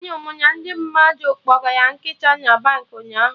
Anụrụ m na mmadụ kpọgara nkịta na Baankị ụnyaahụ